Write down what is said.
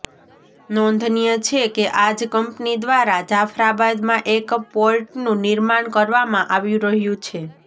નોંધનીય છે કે આ જ કંપની દ્વારા જાફરાબાદમાં એક પોર્ટનું નિર્માણ કરવામાં આવી રહ્યું છે